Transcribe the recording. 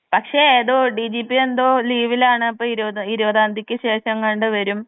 പക്ഷേ ഏതോ ഡിജിപി എന്തോ ലീവിലാണ് ഇരുപത് ഇരുപതാന്തിക്ക് ശേഷെങ്ങാണ്ട് വെരും.